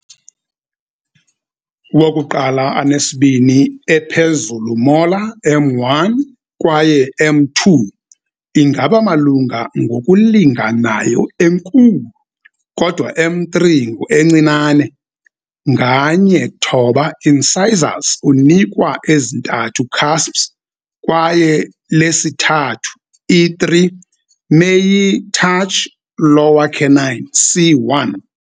Wokuqala anesibini ephezulu molar, M1 kwaye M2, ingaba malunga ngokulinganayo enkulu, kodwa M3 ngu encinane. Nganye thoba incisors unika ezintathu cusps kwaye lesithathu, i3, meyi touch lower canine, c1.